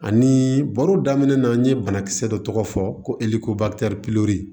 Ani baro daminɛ na n ye banakisɛ dɔ tɔgɔ fɔ ko